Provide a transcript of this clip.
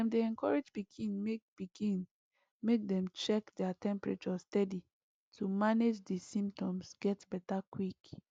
dem dey encourage pikin make pikin make dem dey check their temperature steady to manage di symptoms get beta quick